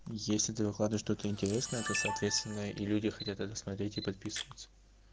если ты находишь что-то интересное то соответственно и люди хотят это смотреть и подписываться